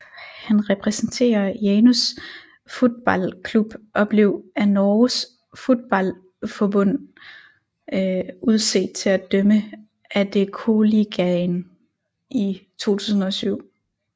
Han repræsenterer Janus Fotballklubb og blev af Norges Fotballforbund udset til at dømme Adeccoligaen i 2007